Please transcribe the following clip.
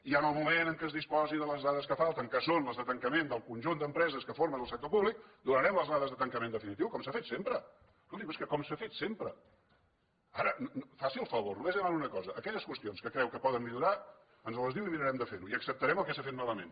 i en el moment en què es disposi de les dades que falten que són les de tancament del conjunt d’empreses que formen el sector públic donarem les dades de tancament definitiu som s’ha fet sempre escolti’m és que és com s’ha fet sempre ara faci el favor només li demano una cosa aquelles qüestions que creu que poden millorar ens les diu i mirarem de fer ho i acceptarem el que s’ha fet malament